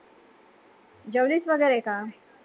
जेवलीस वैगरे का?